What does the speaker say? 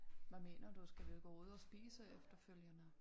Hvad mener du skal vi gå ud og spise efterfølgende?